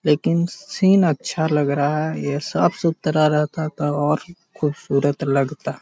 लेकिन सीन अच्छा लग रहा है ये साफ सुथरा रहता तब और खूबसूरत लगता।